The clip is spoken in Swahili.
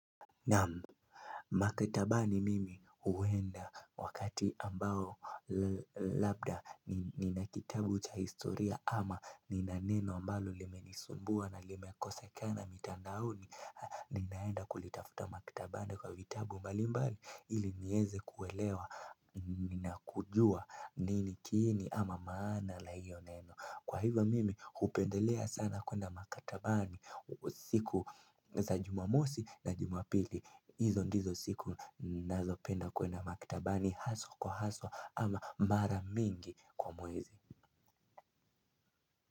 Naam. Maktabani mimi huenda wakati ambao labda nina kitabu cha historia ama ni na neno ambalo limenisumbua na limekosekana mitandaoni. Ninaenda kulitafuta makatabani kwa vitabu mbalimbali ili nieze kuwelewa na kujua nini kiini ama maana la hiyo neno. Kwa hivyo mimi hupendelea sana kwenda maktabani siku za jumamosi na jumapili. Hizo ndizo siku ninazo penda kwenda maktabani haso kwa haso ama mara mingi kwa mwezi.